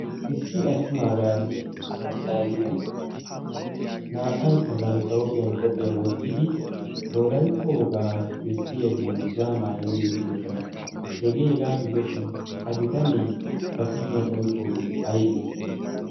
issi attumaagaaranne issi maccaariida naa''aykka bantta hoophiyan qophiyaa wottidi wolaytta wogaa bessiya dungguzzaa maayidi ekkidosona hegee hegaa gidoshin ha bitanee ba kushiyan oyqqoogee aybee?